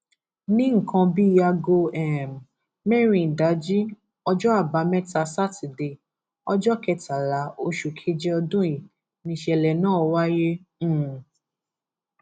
ní nǹkan bí aago um mẹrin ìdájí ọjọ àbámẹta sátidé ọjọ kẹtàlá oṣù keje ọdún yìí nìṣẹlẹ náà wáyé um